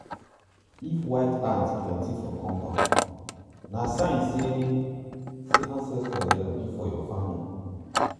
if white ants plenty for compound na sign say say ancestors dey happy for your farming.